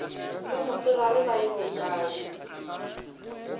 ba mosegare ba beile kae